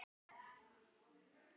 Hvaða hvaða.